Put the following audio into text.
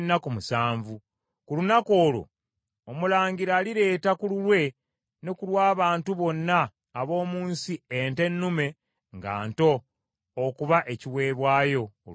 Ku lunaku olwo omulangira alireeta ku lulwe ne ku lw’abantu bonna ab’omu nsi ente ennume nga nto okuba ekiweebwayo olw’ekibi.